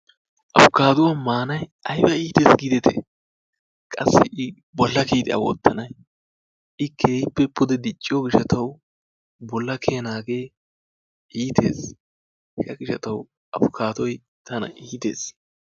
Apikaaduwaa maanay ayba itees giideti qaassi bolla kiiyidi a wottanay i keehippe pude diicciyoo giishshatawu bolla kiyanagee iitees. hege diga tawu apikaadoy tana iitees.